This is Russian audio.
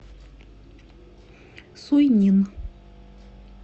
суйнин